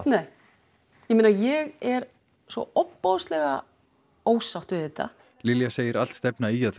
nei ég meina ég er svo ofboðslega ósátt við þetta Lilja segir allt stefna í að